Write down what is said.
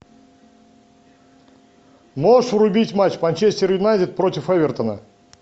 можешь врубить матч манчестер юнайтед против эвертона